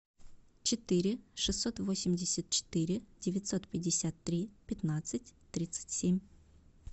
четыре шестьсот восемьдесят четыре девятьсот пятьдесят три пятнадцать тридцать семь